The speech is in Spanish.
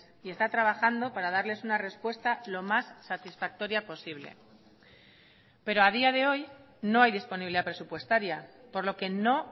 y está trabajando para darles una respuesta lo más satisfactoria posible pero a día de hoy no hay disponibilidad presupuestaria por lo que no